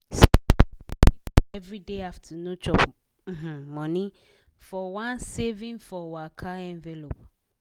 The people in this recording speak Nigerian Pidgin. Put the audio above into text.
sarah take time keep her everyday afternoon chop um money for one "saving for waka" envelope.